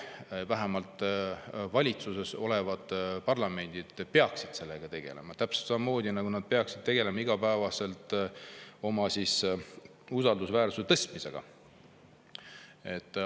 Aga vähemalt valitsuses peaksid sellega tegelema, täpselt samamoodi, nagu nad peaksid iga päev tegelema oma usaldusväärsuse tõstmisega.